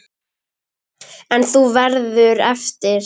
En þú verður eftir.